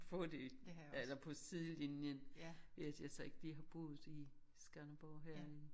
Få det eller på sidelinjen hvis jeg så ikke lige har boet i Skanderborg her i